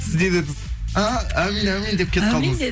сіз не дедіңіз і әумин әумин деп кетіп қалдыңыз